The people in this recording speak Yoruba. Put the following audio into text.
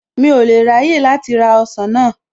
Mi ò lè ráyè láti ra ọsàn náà.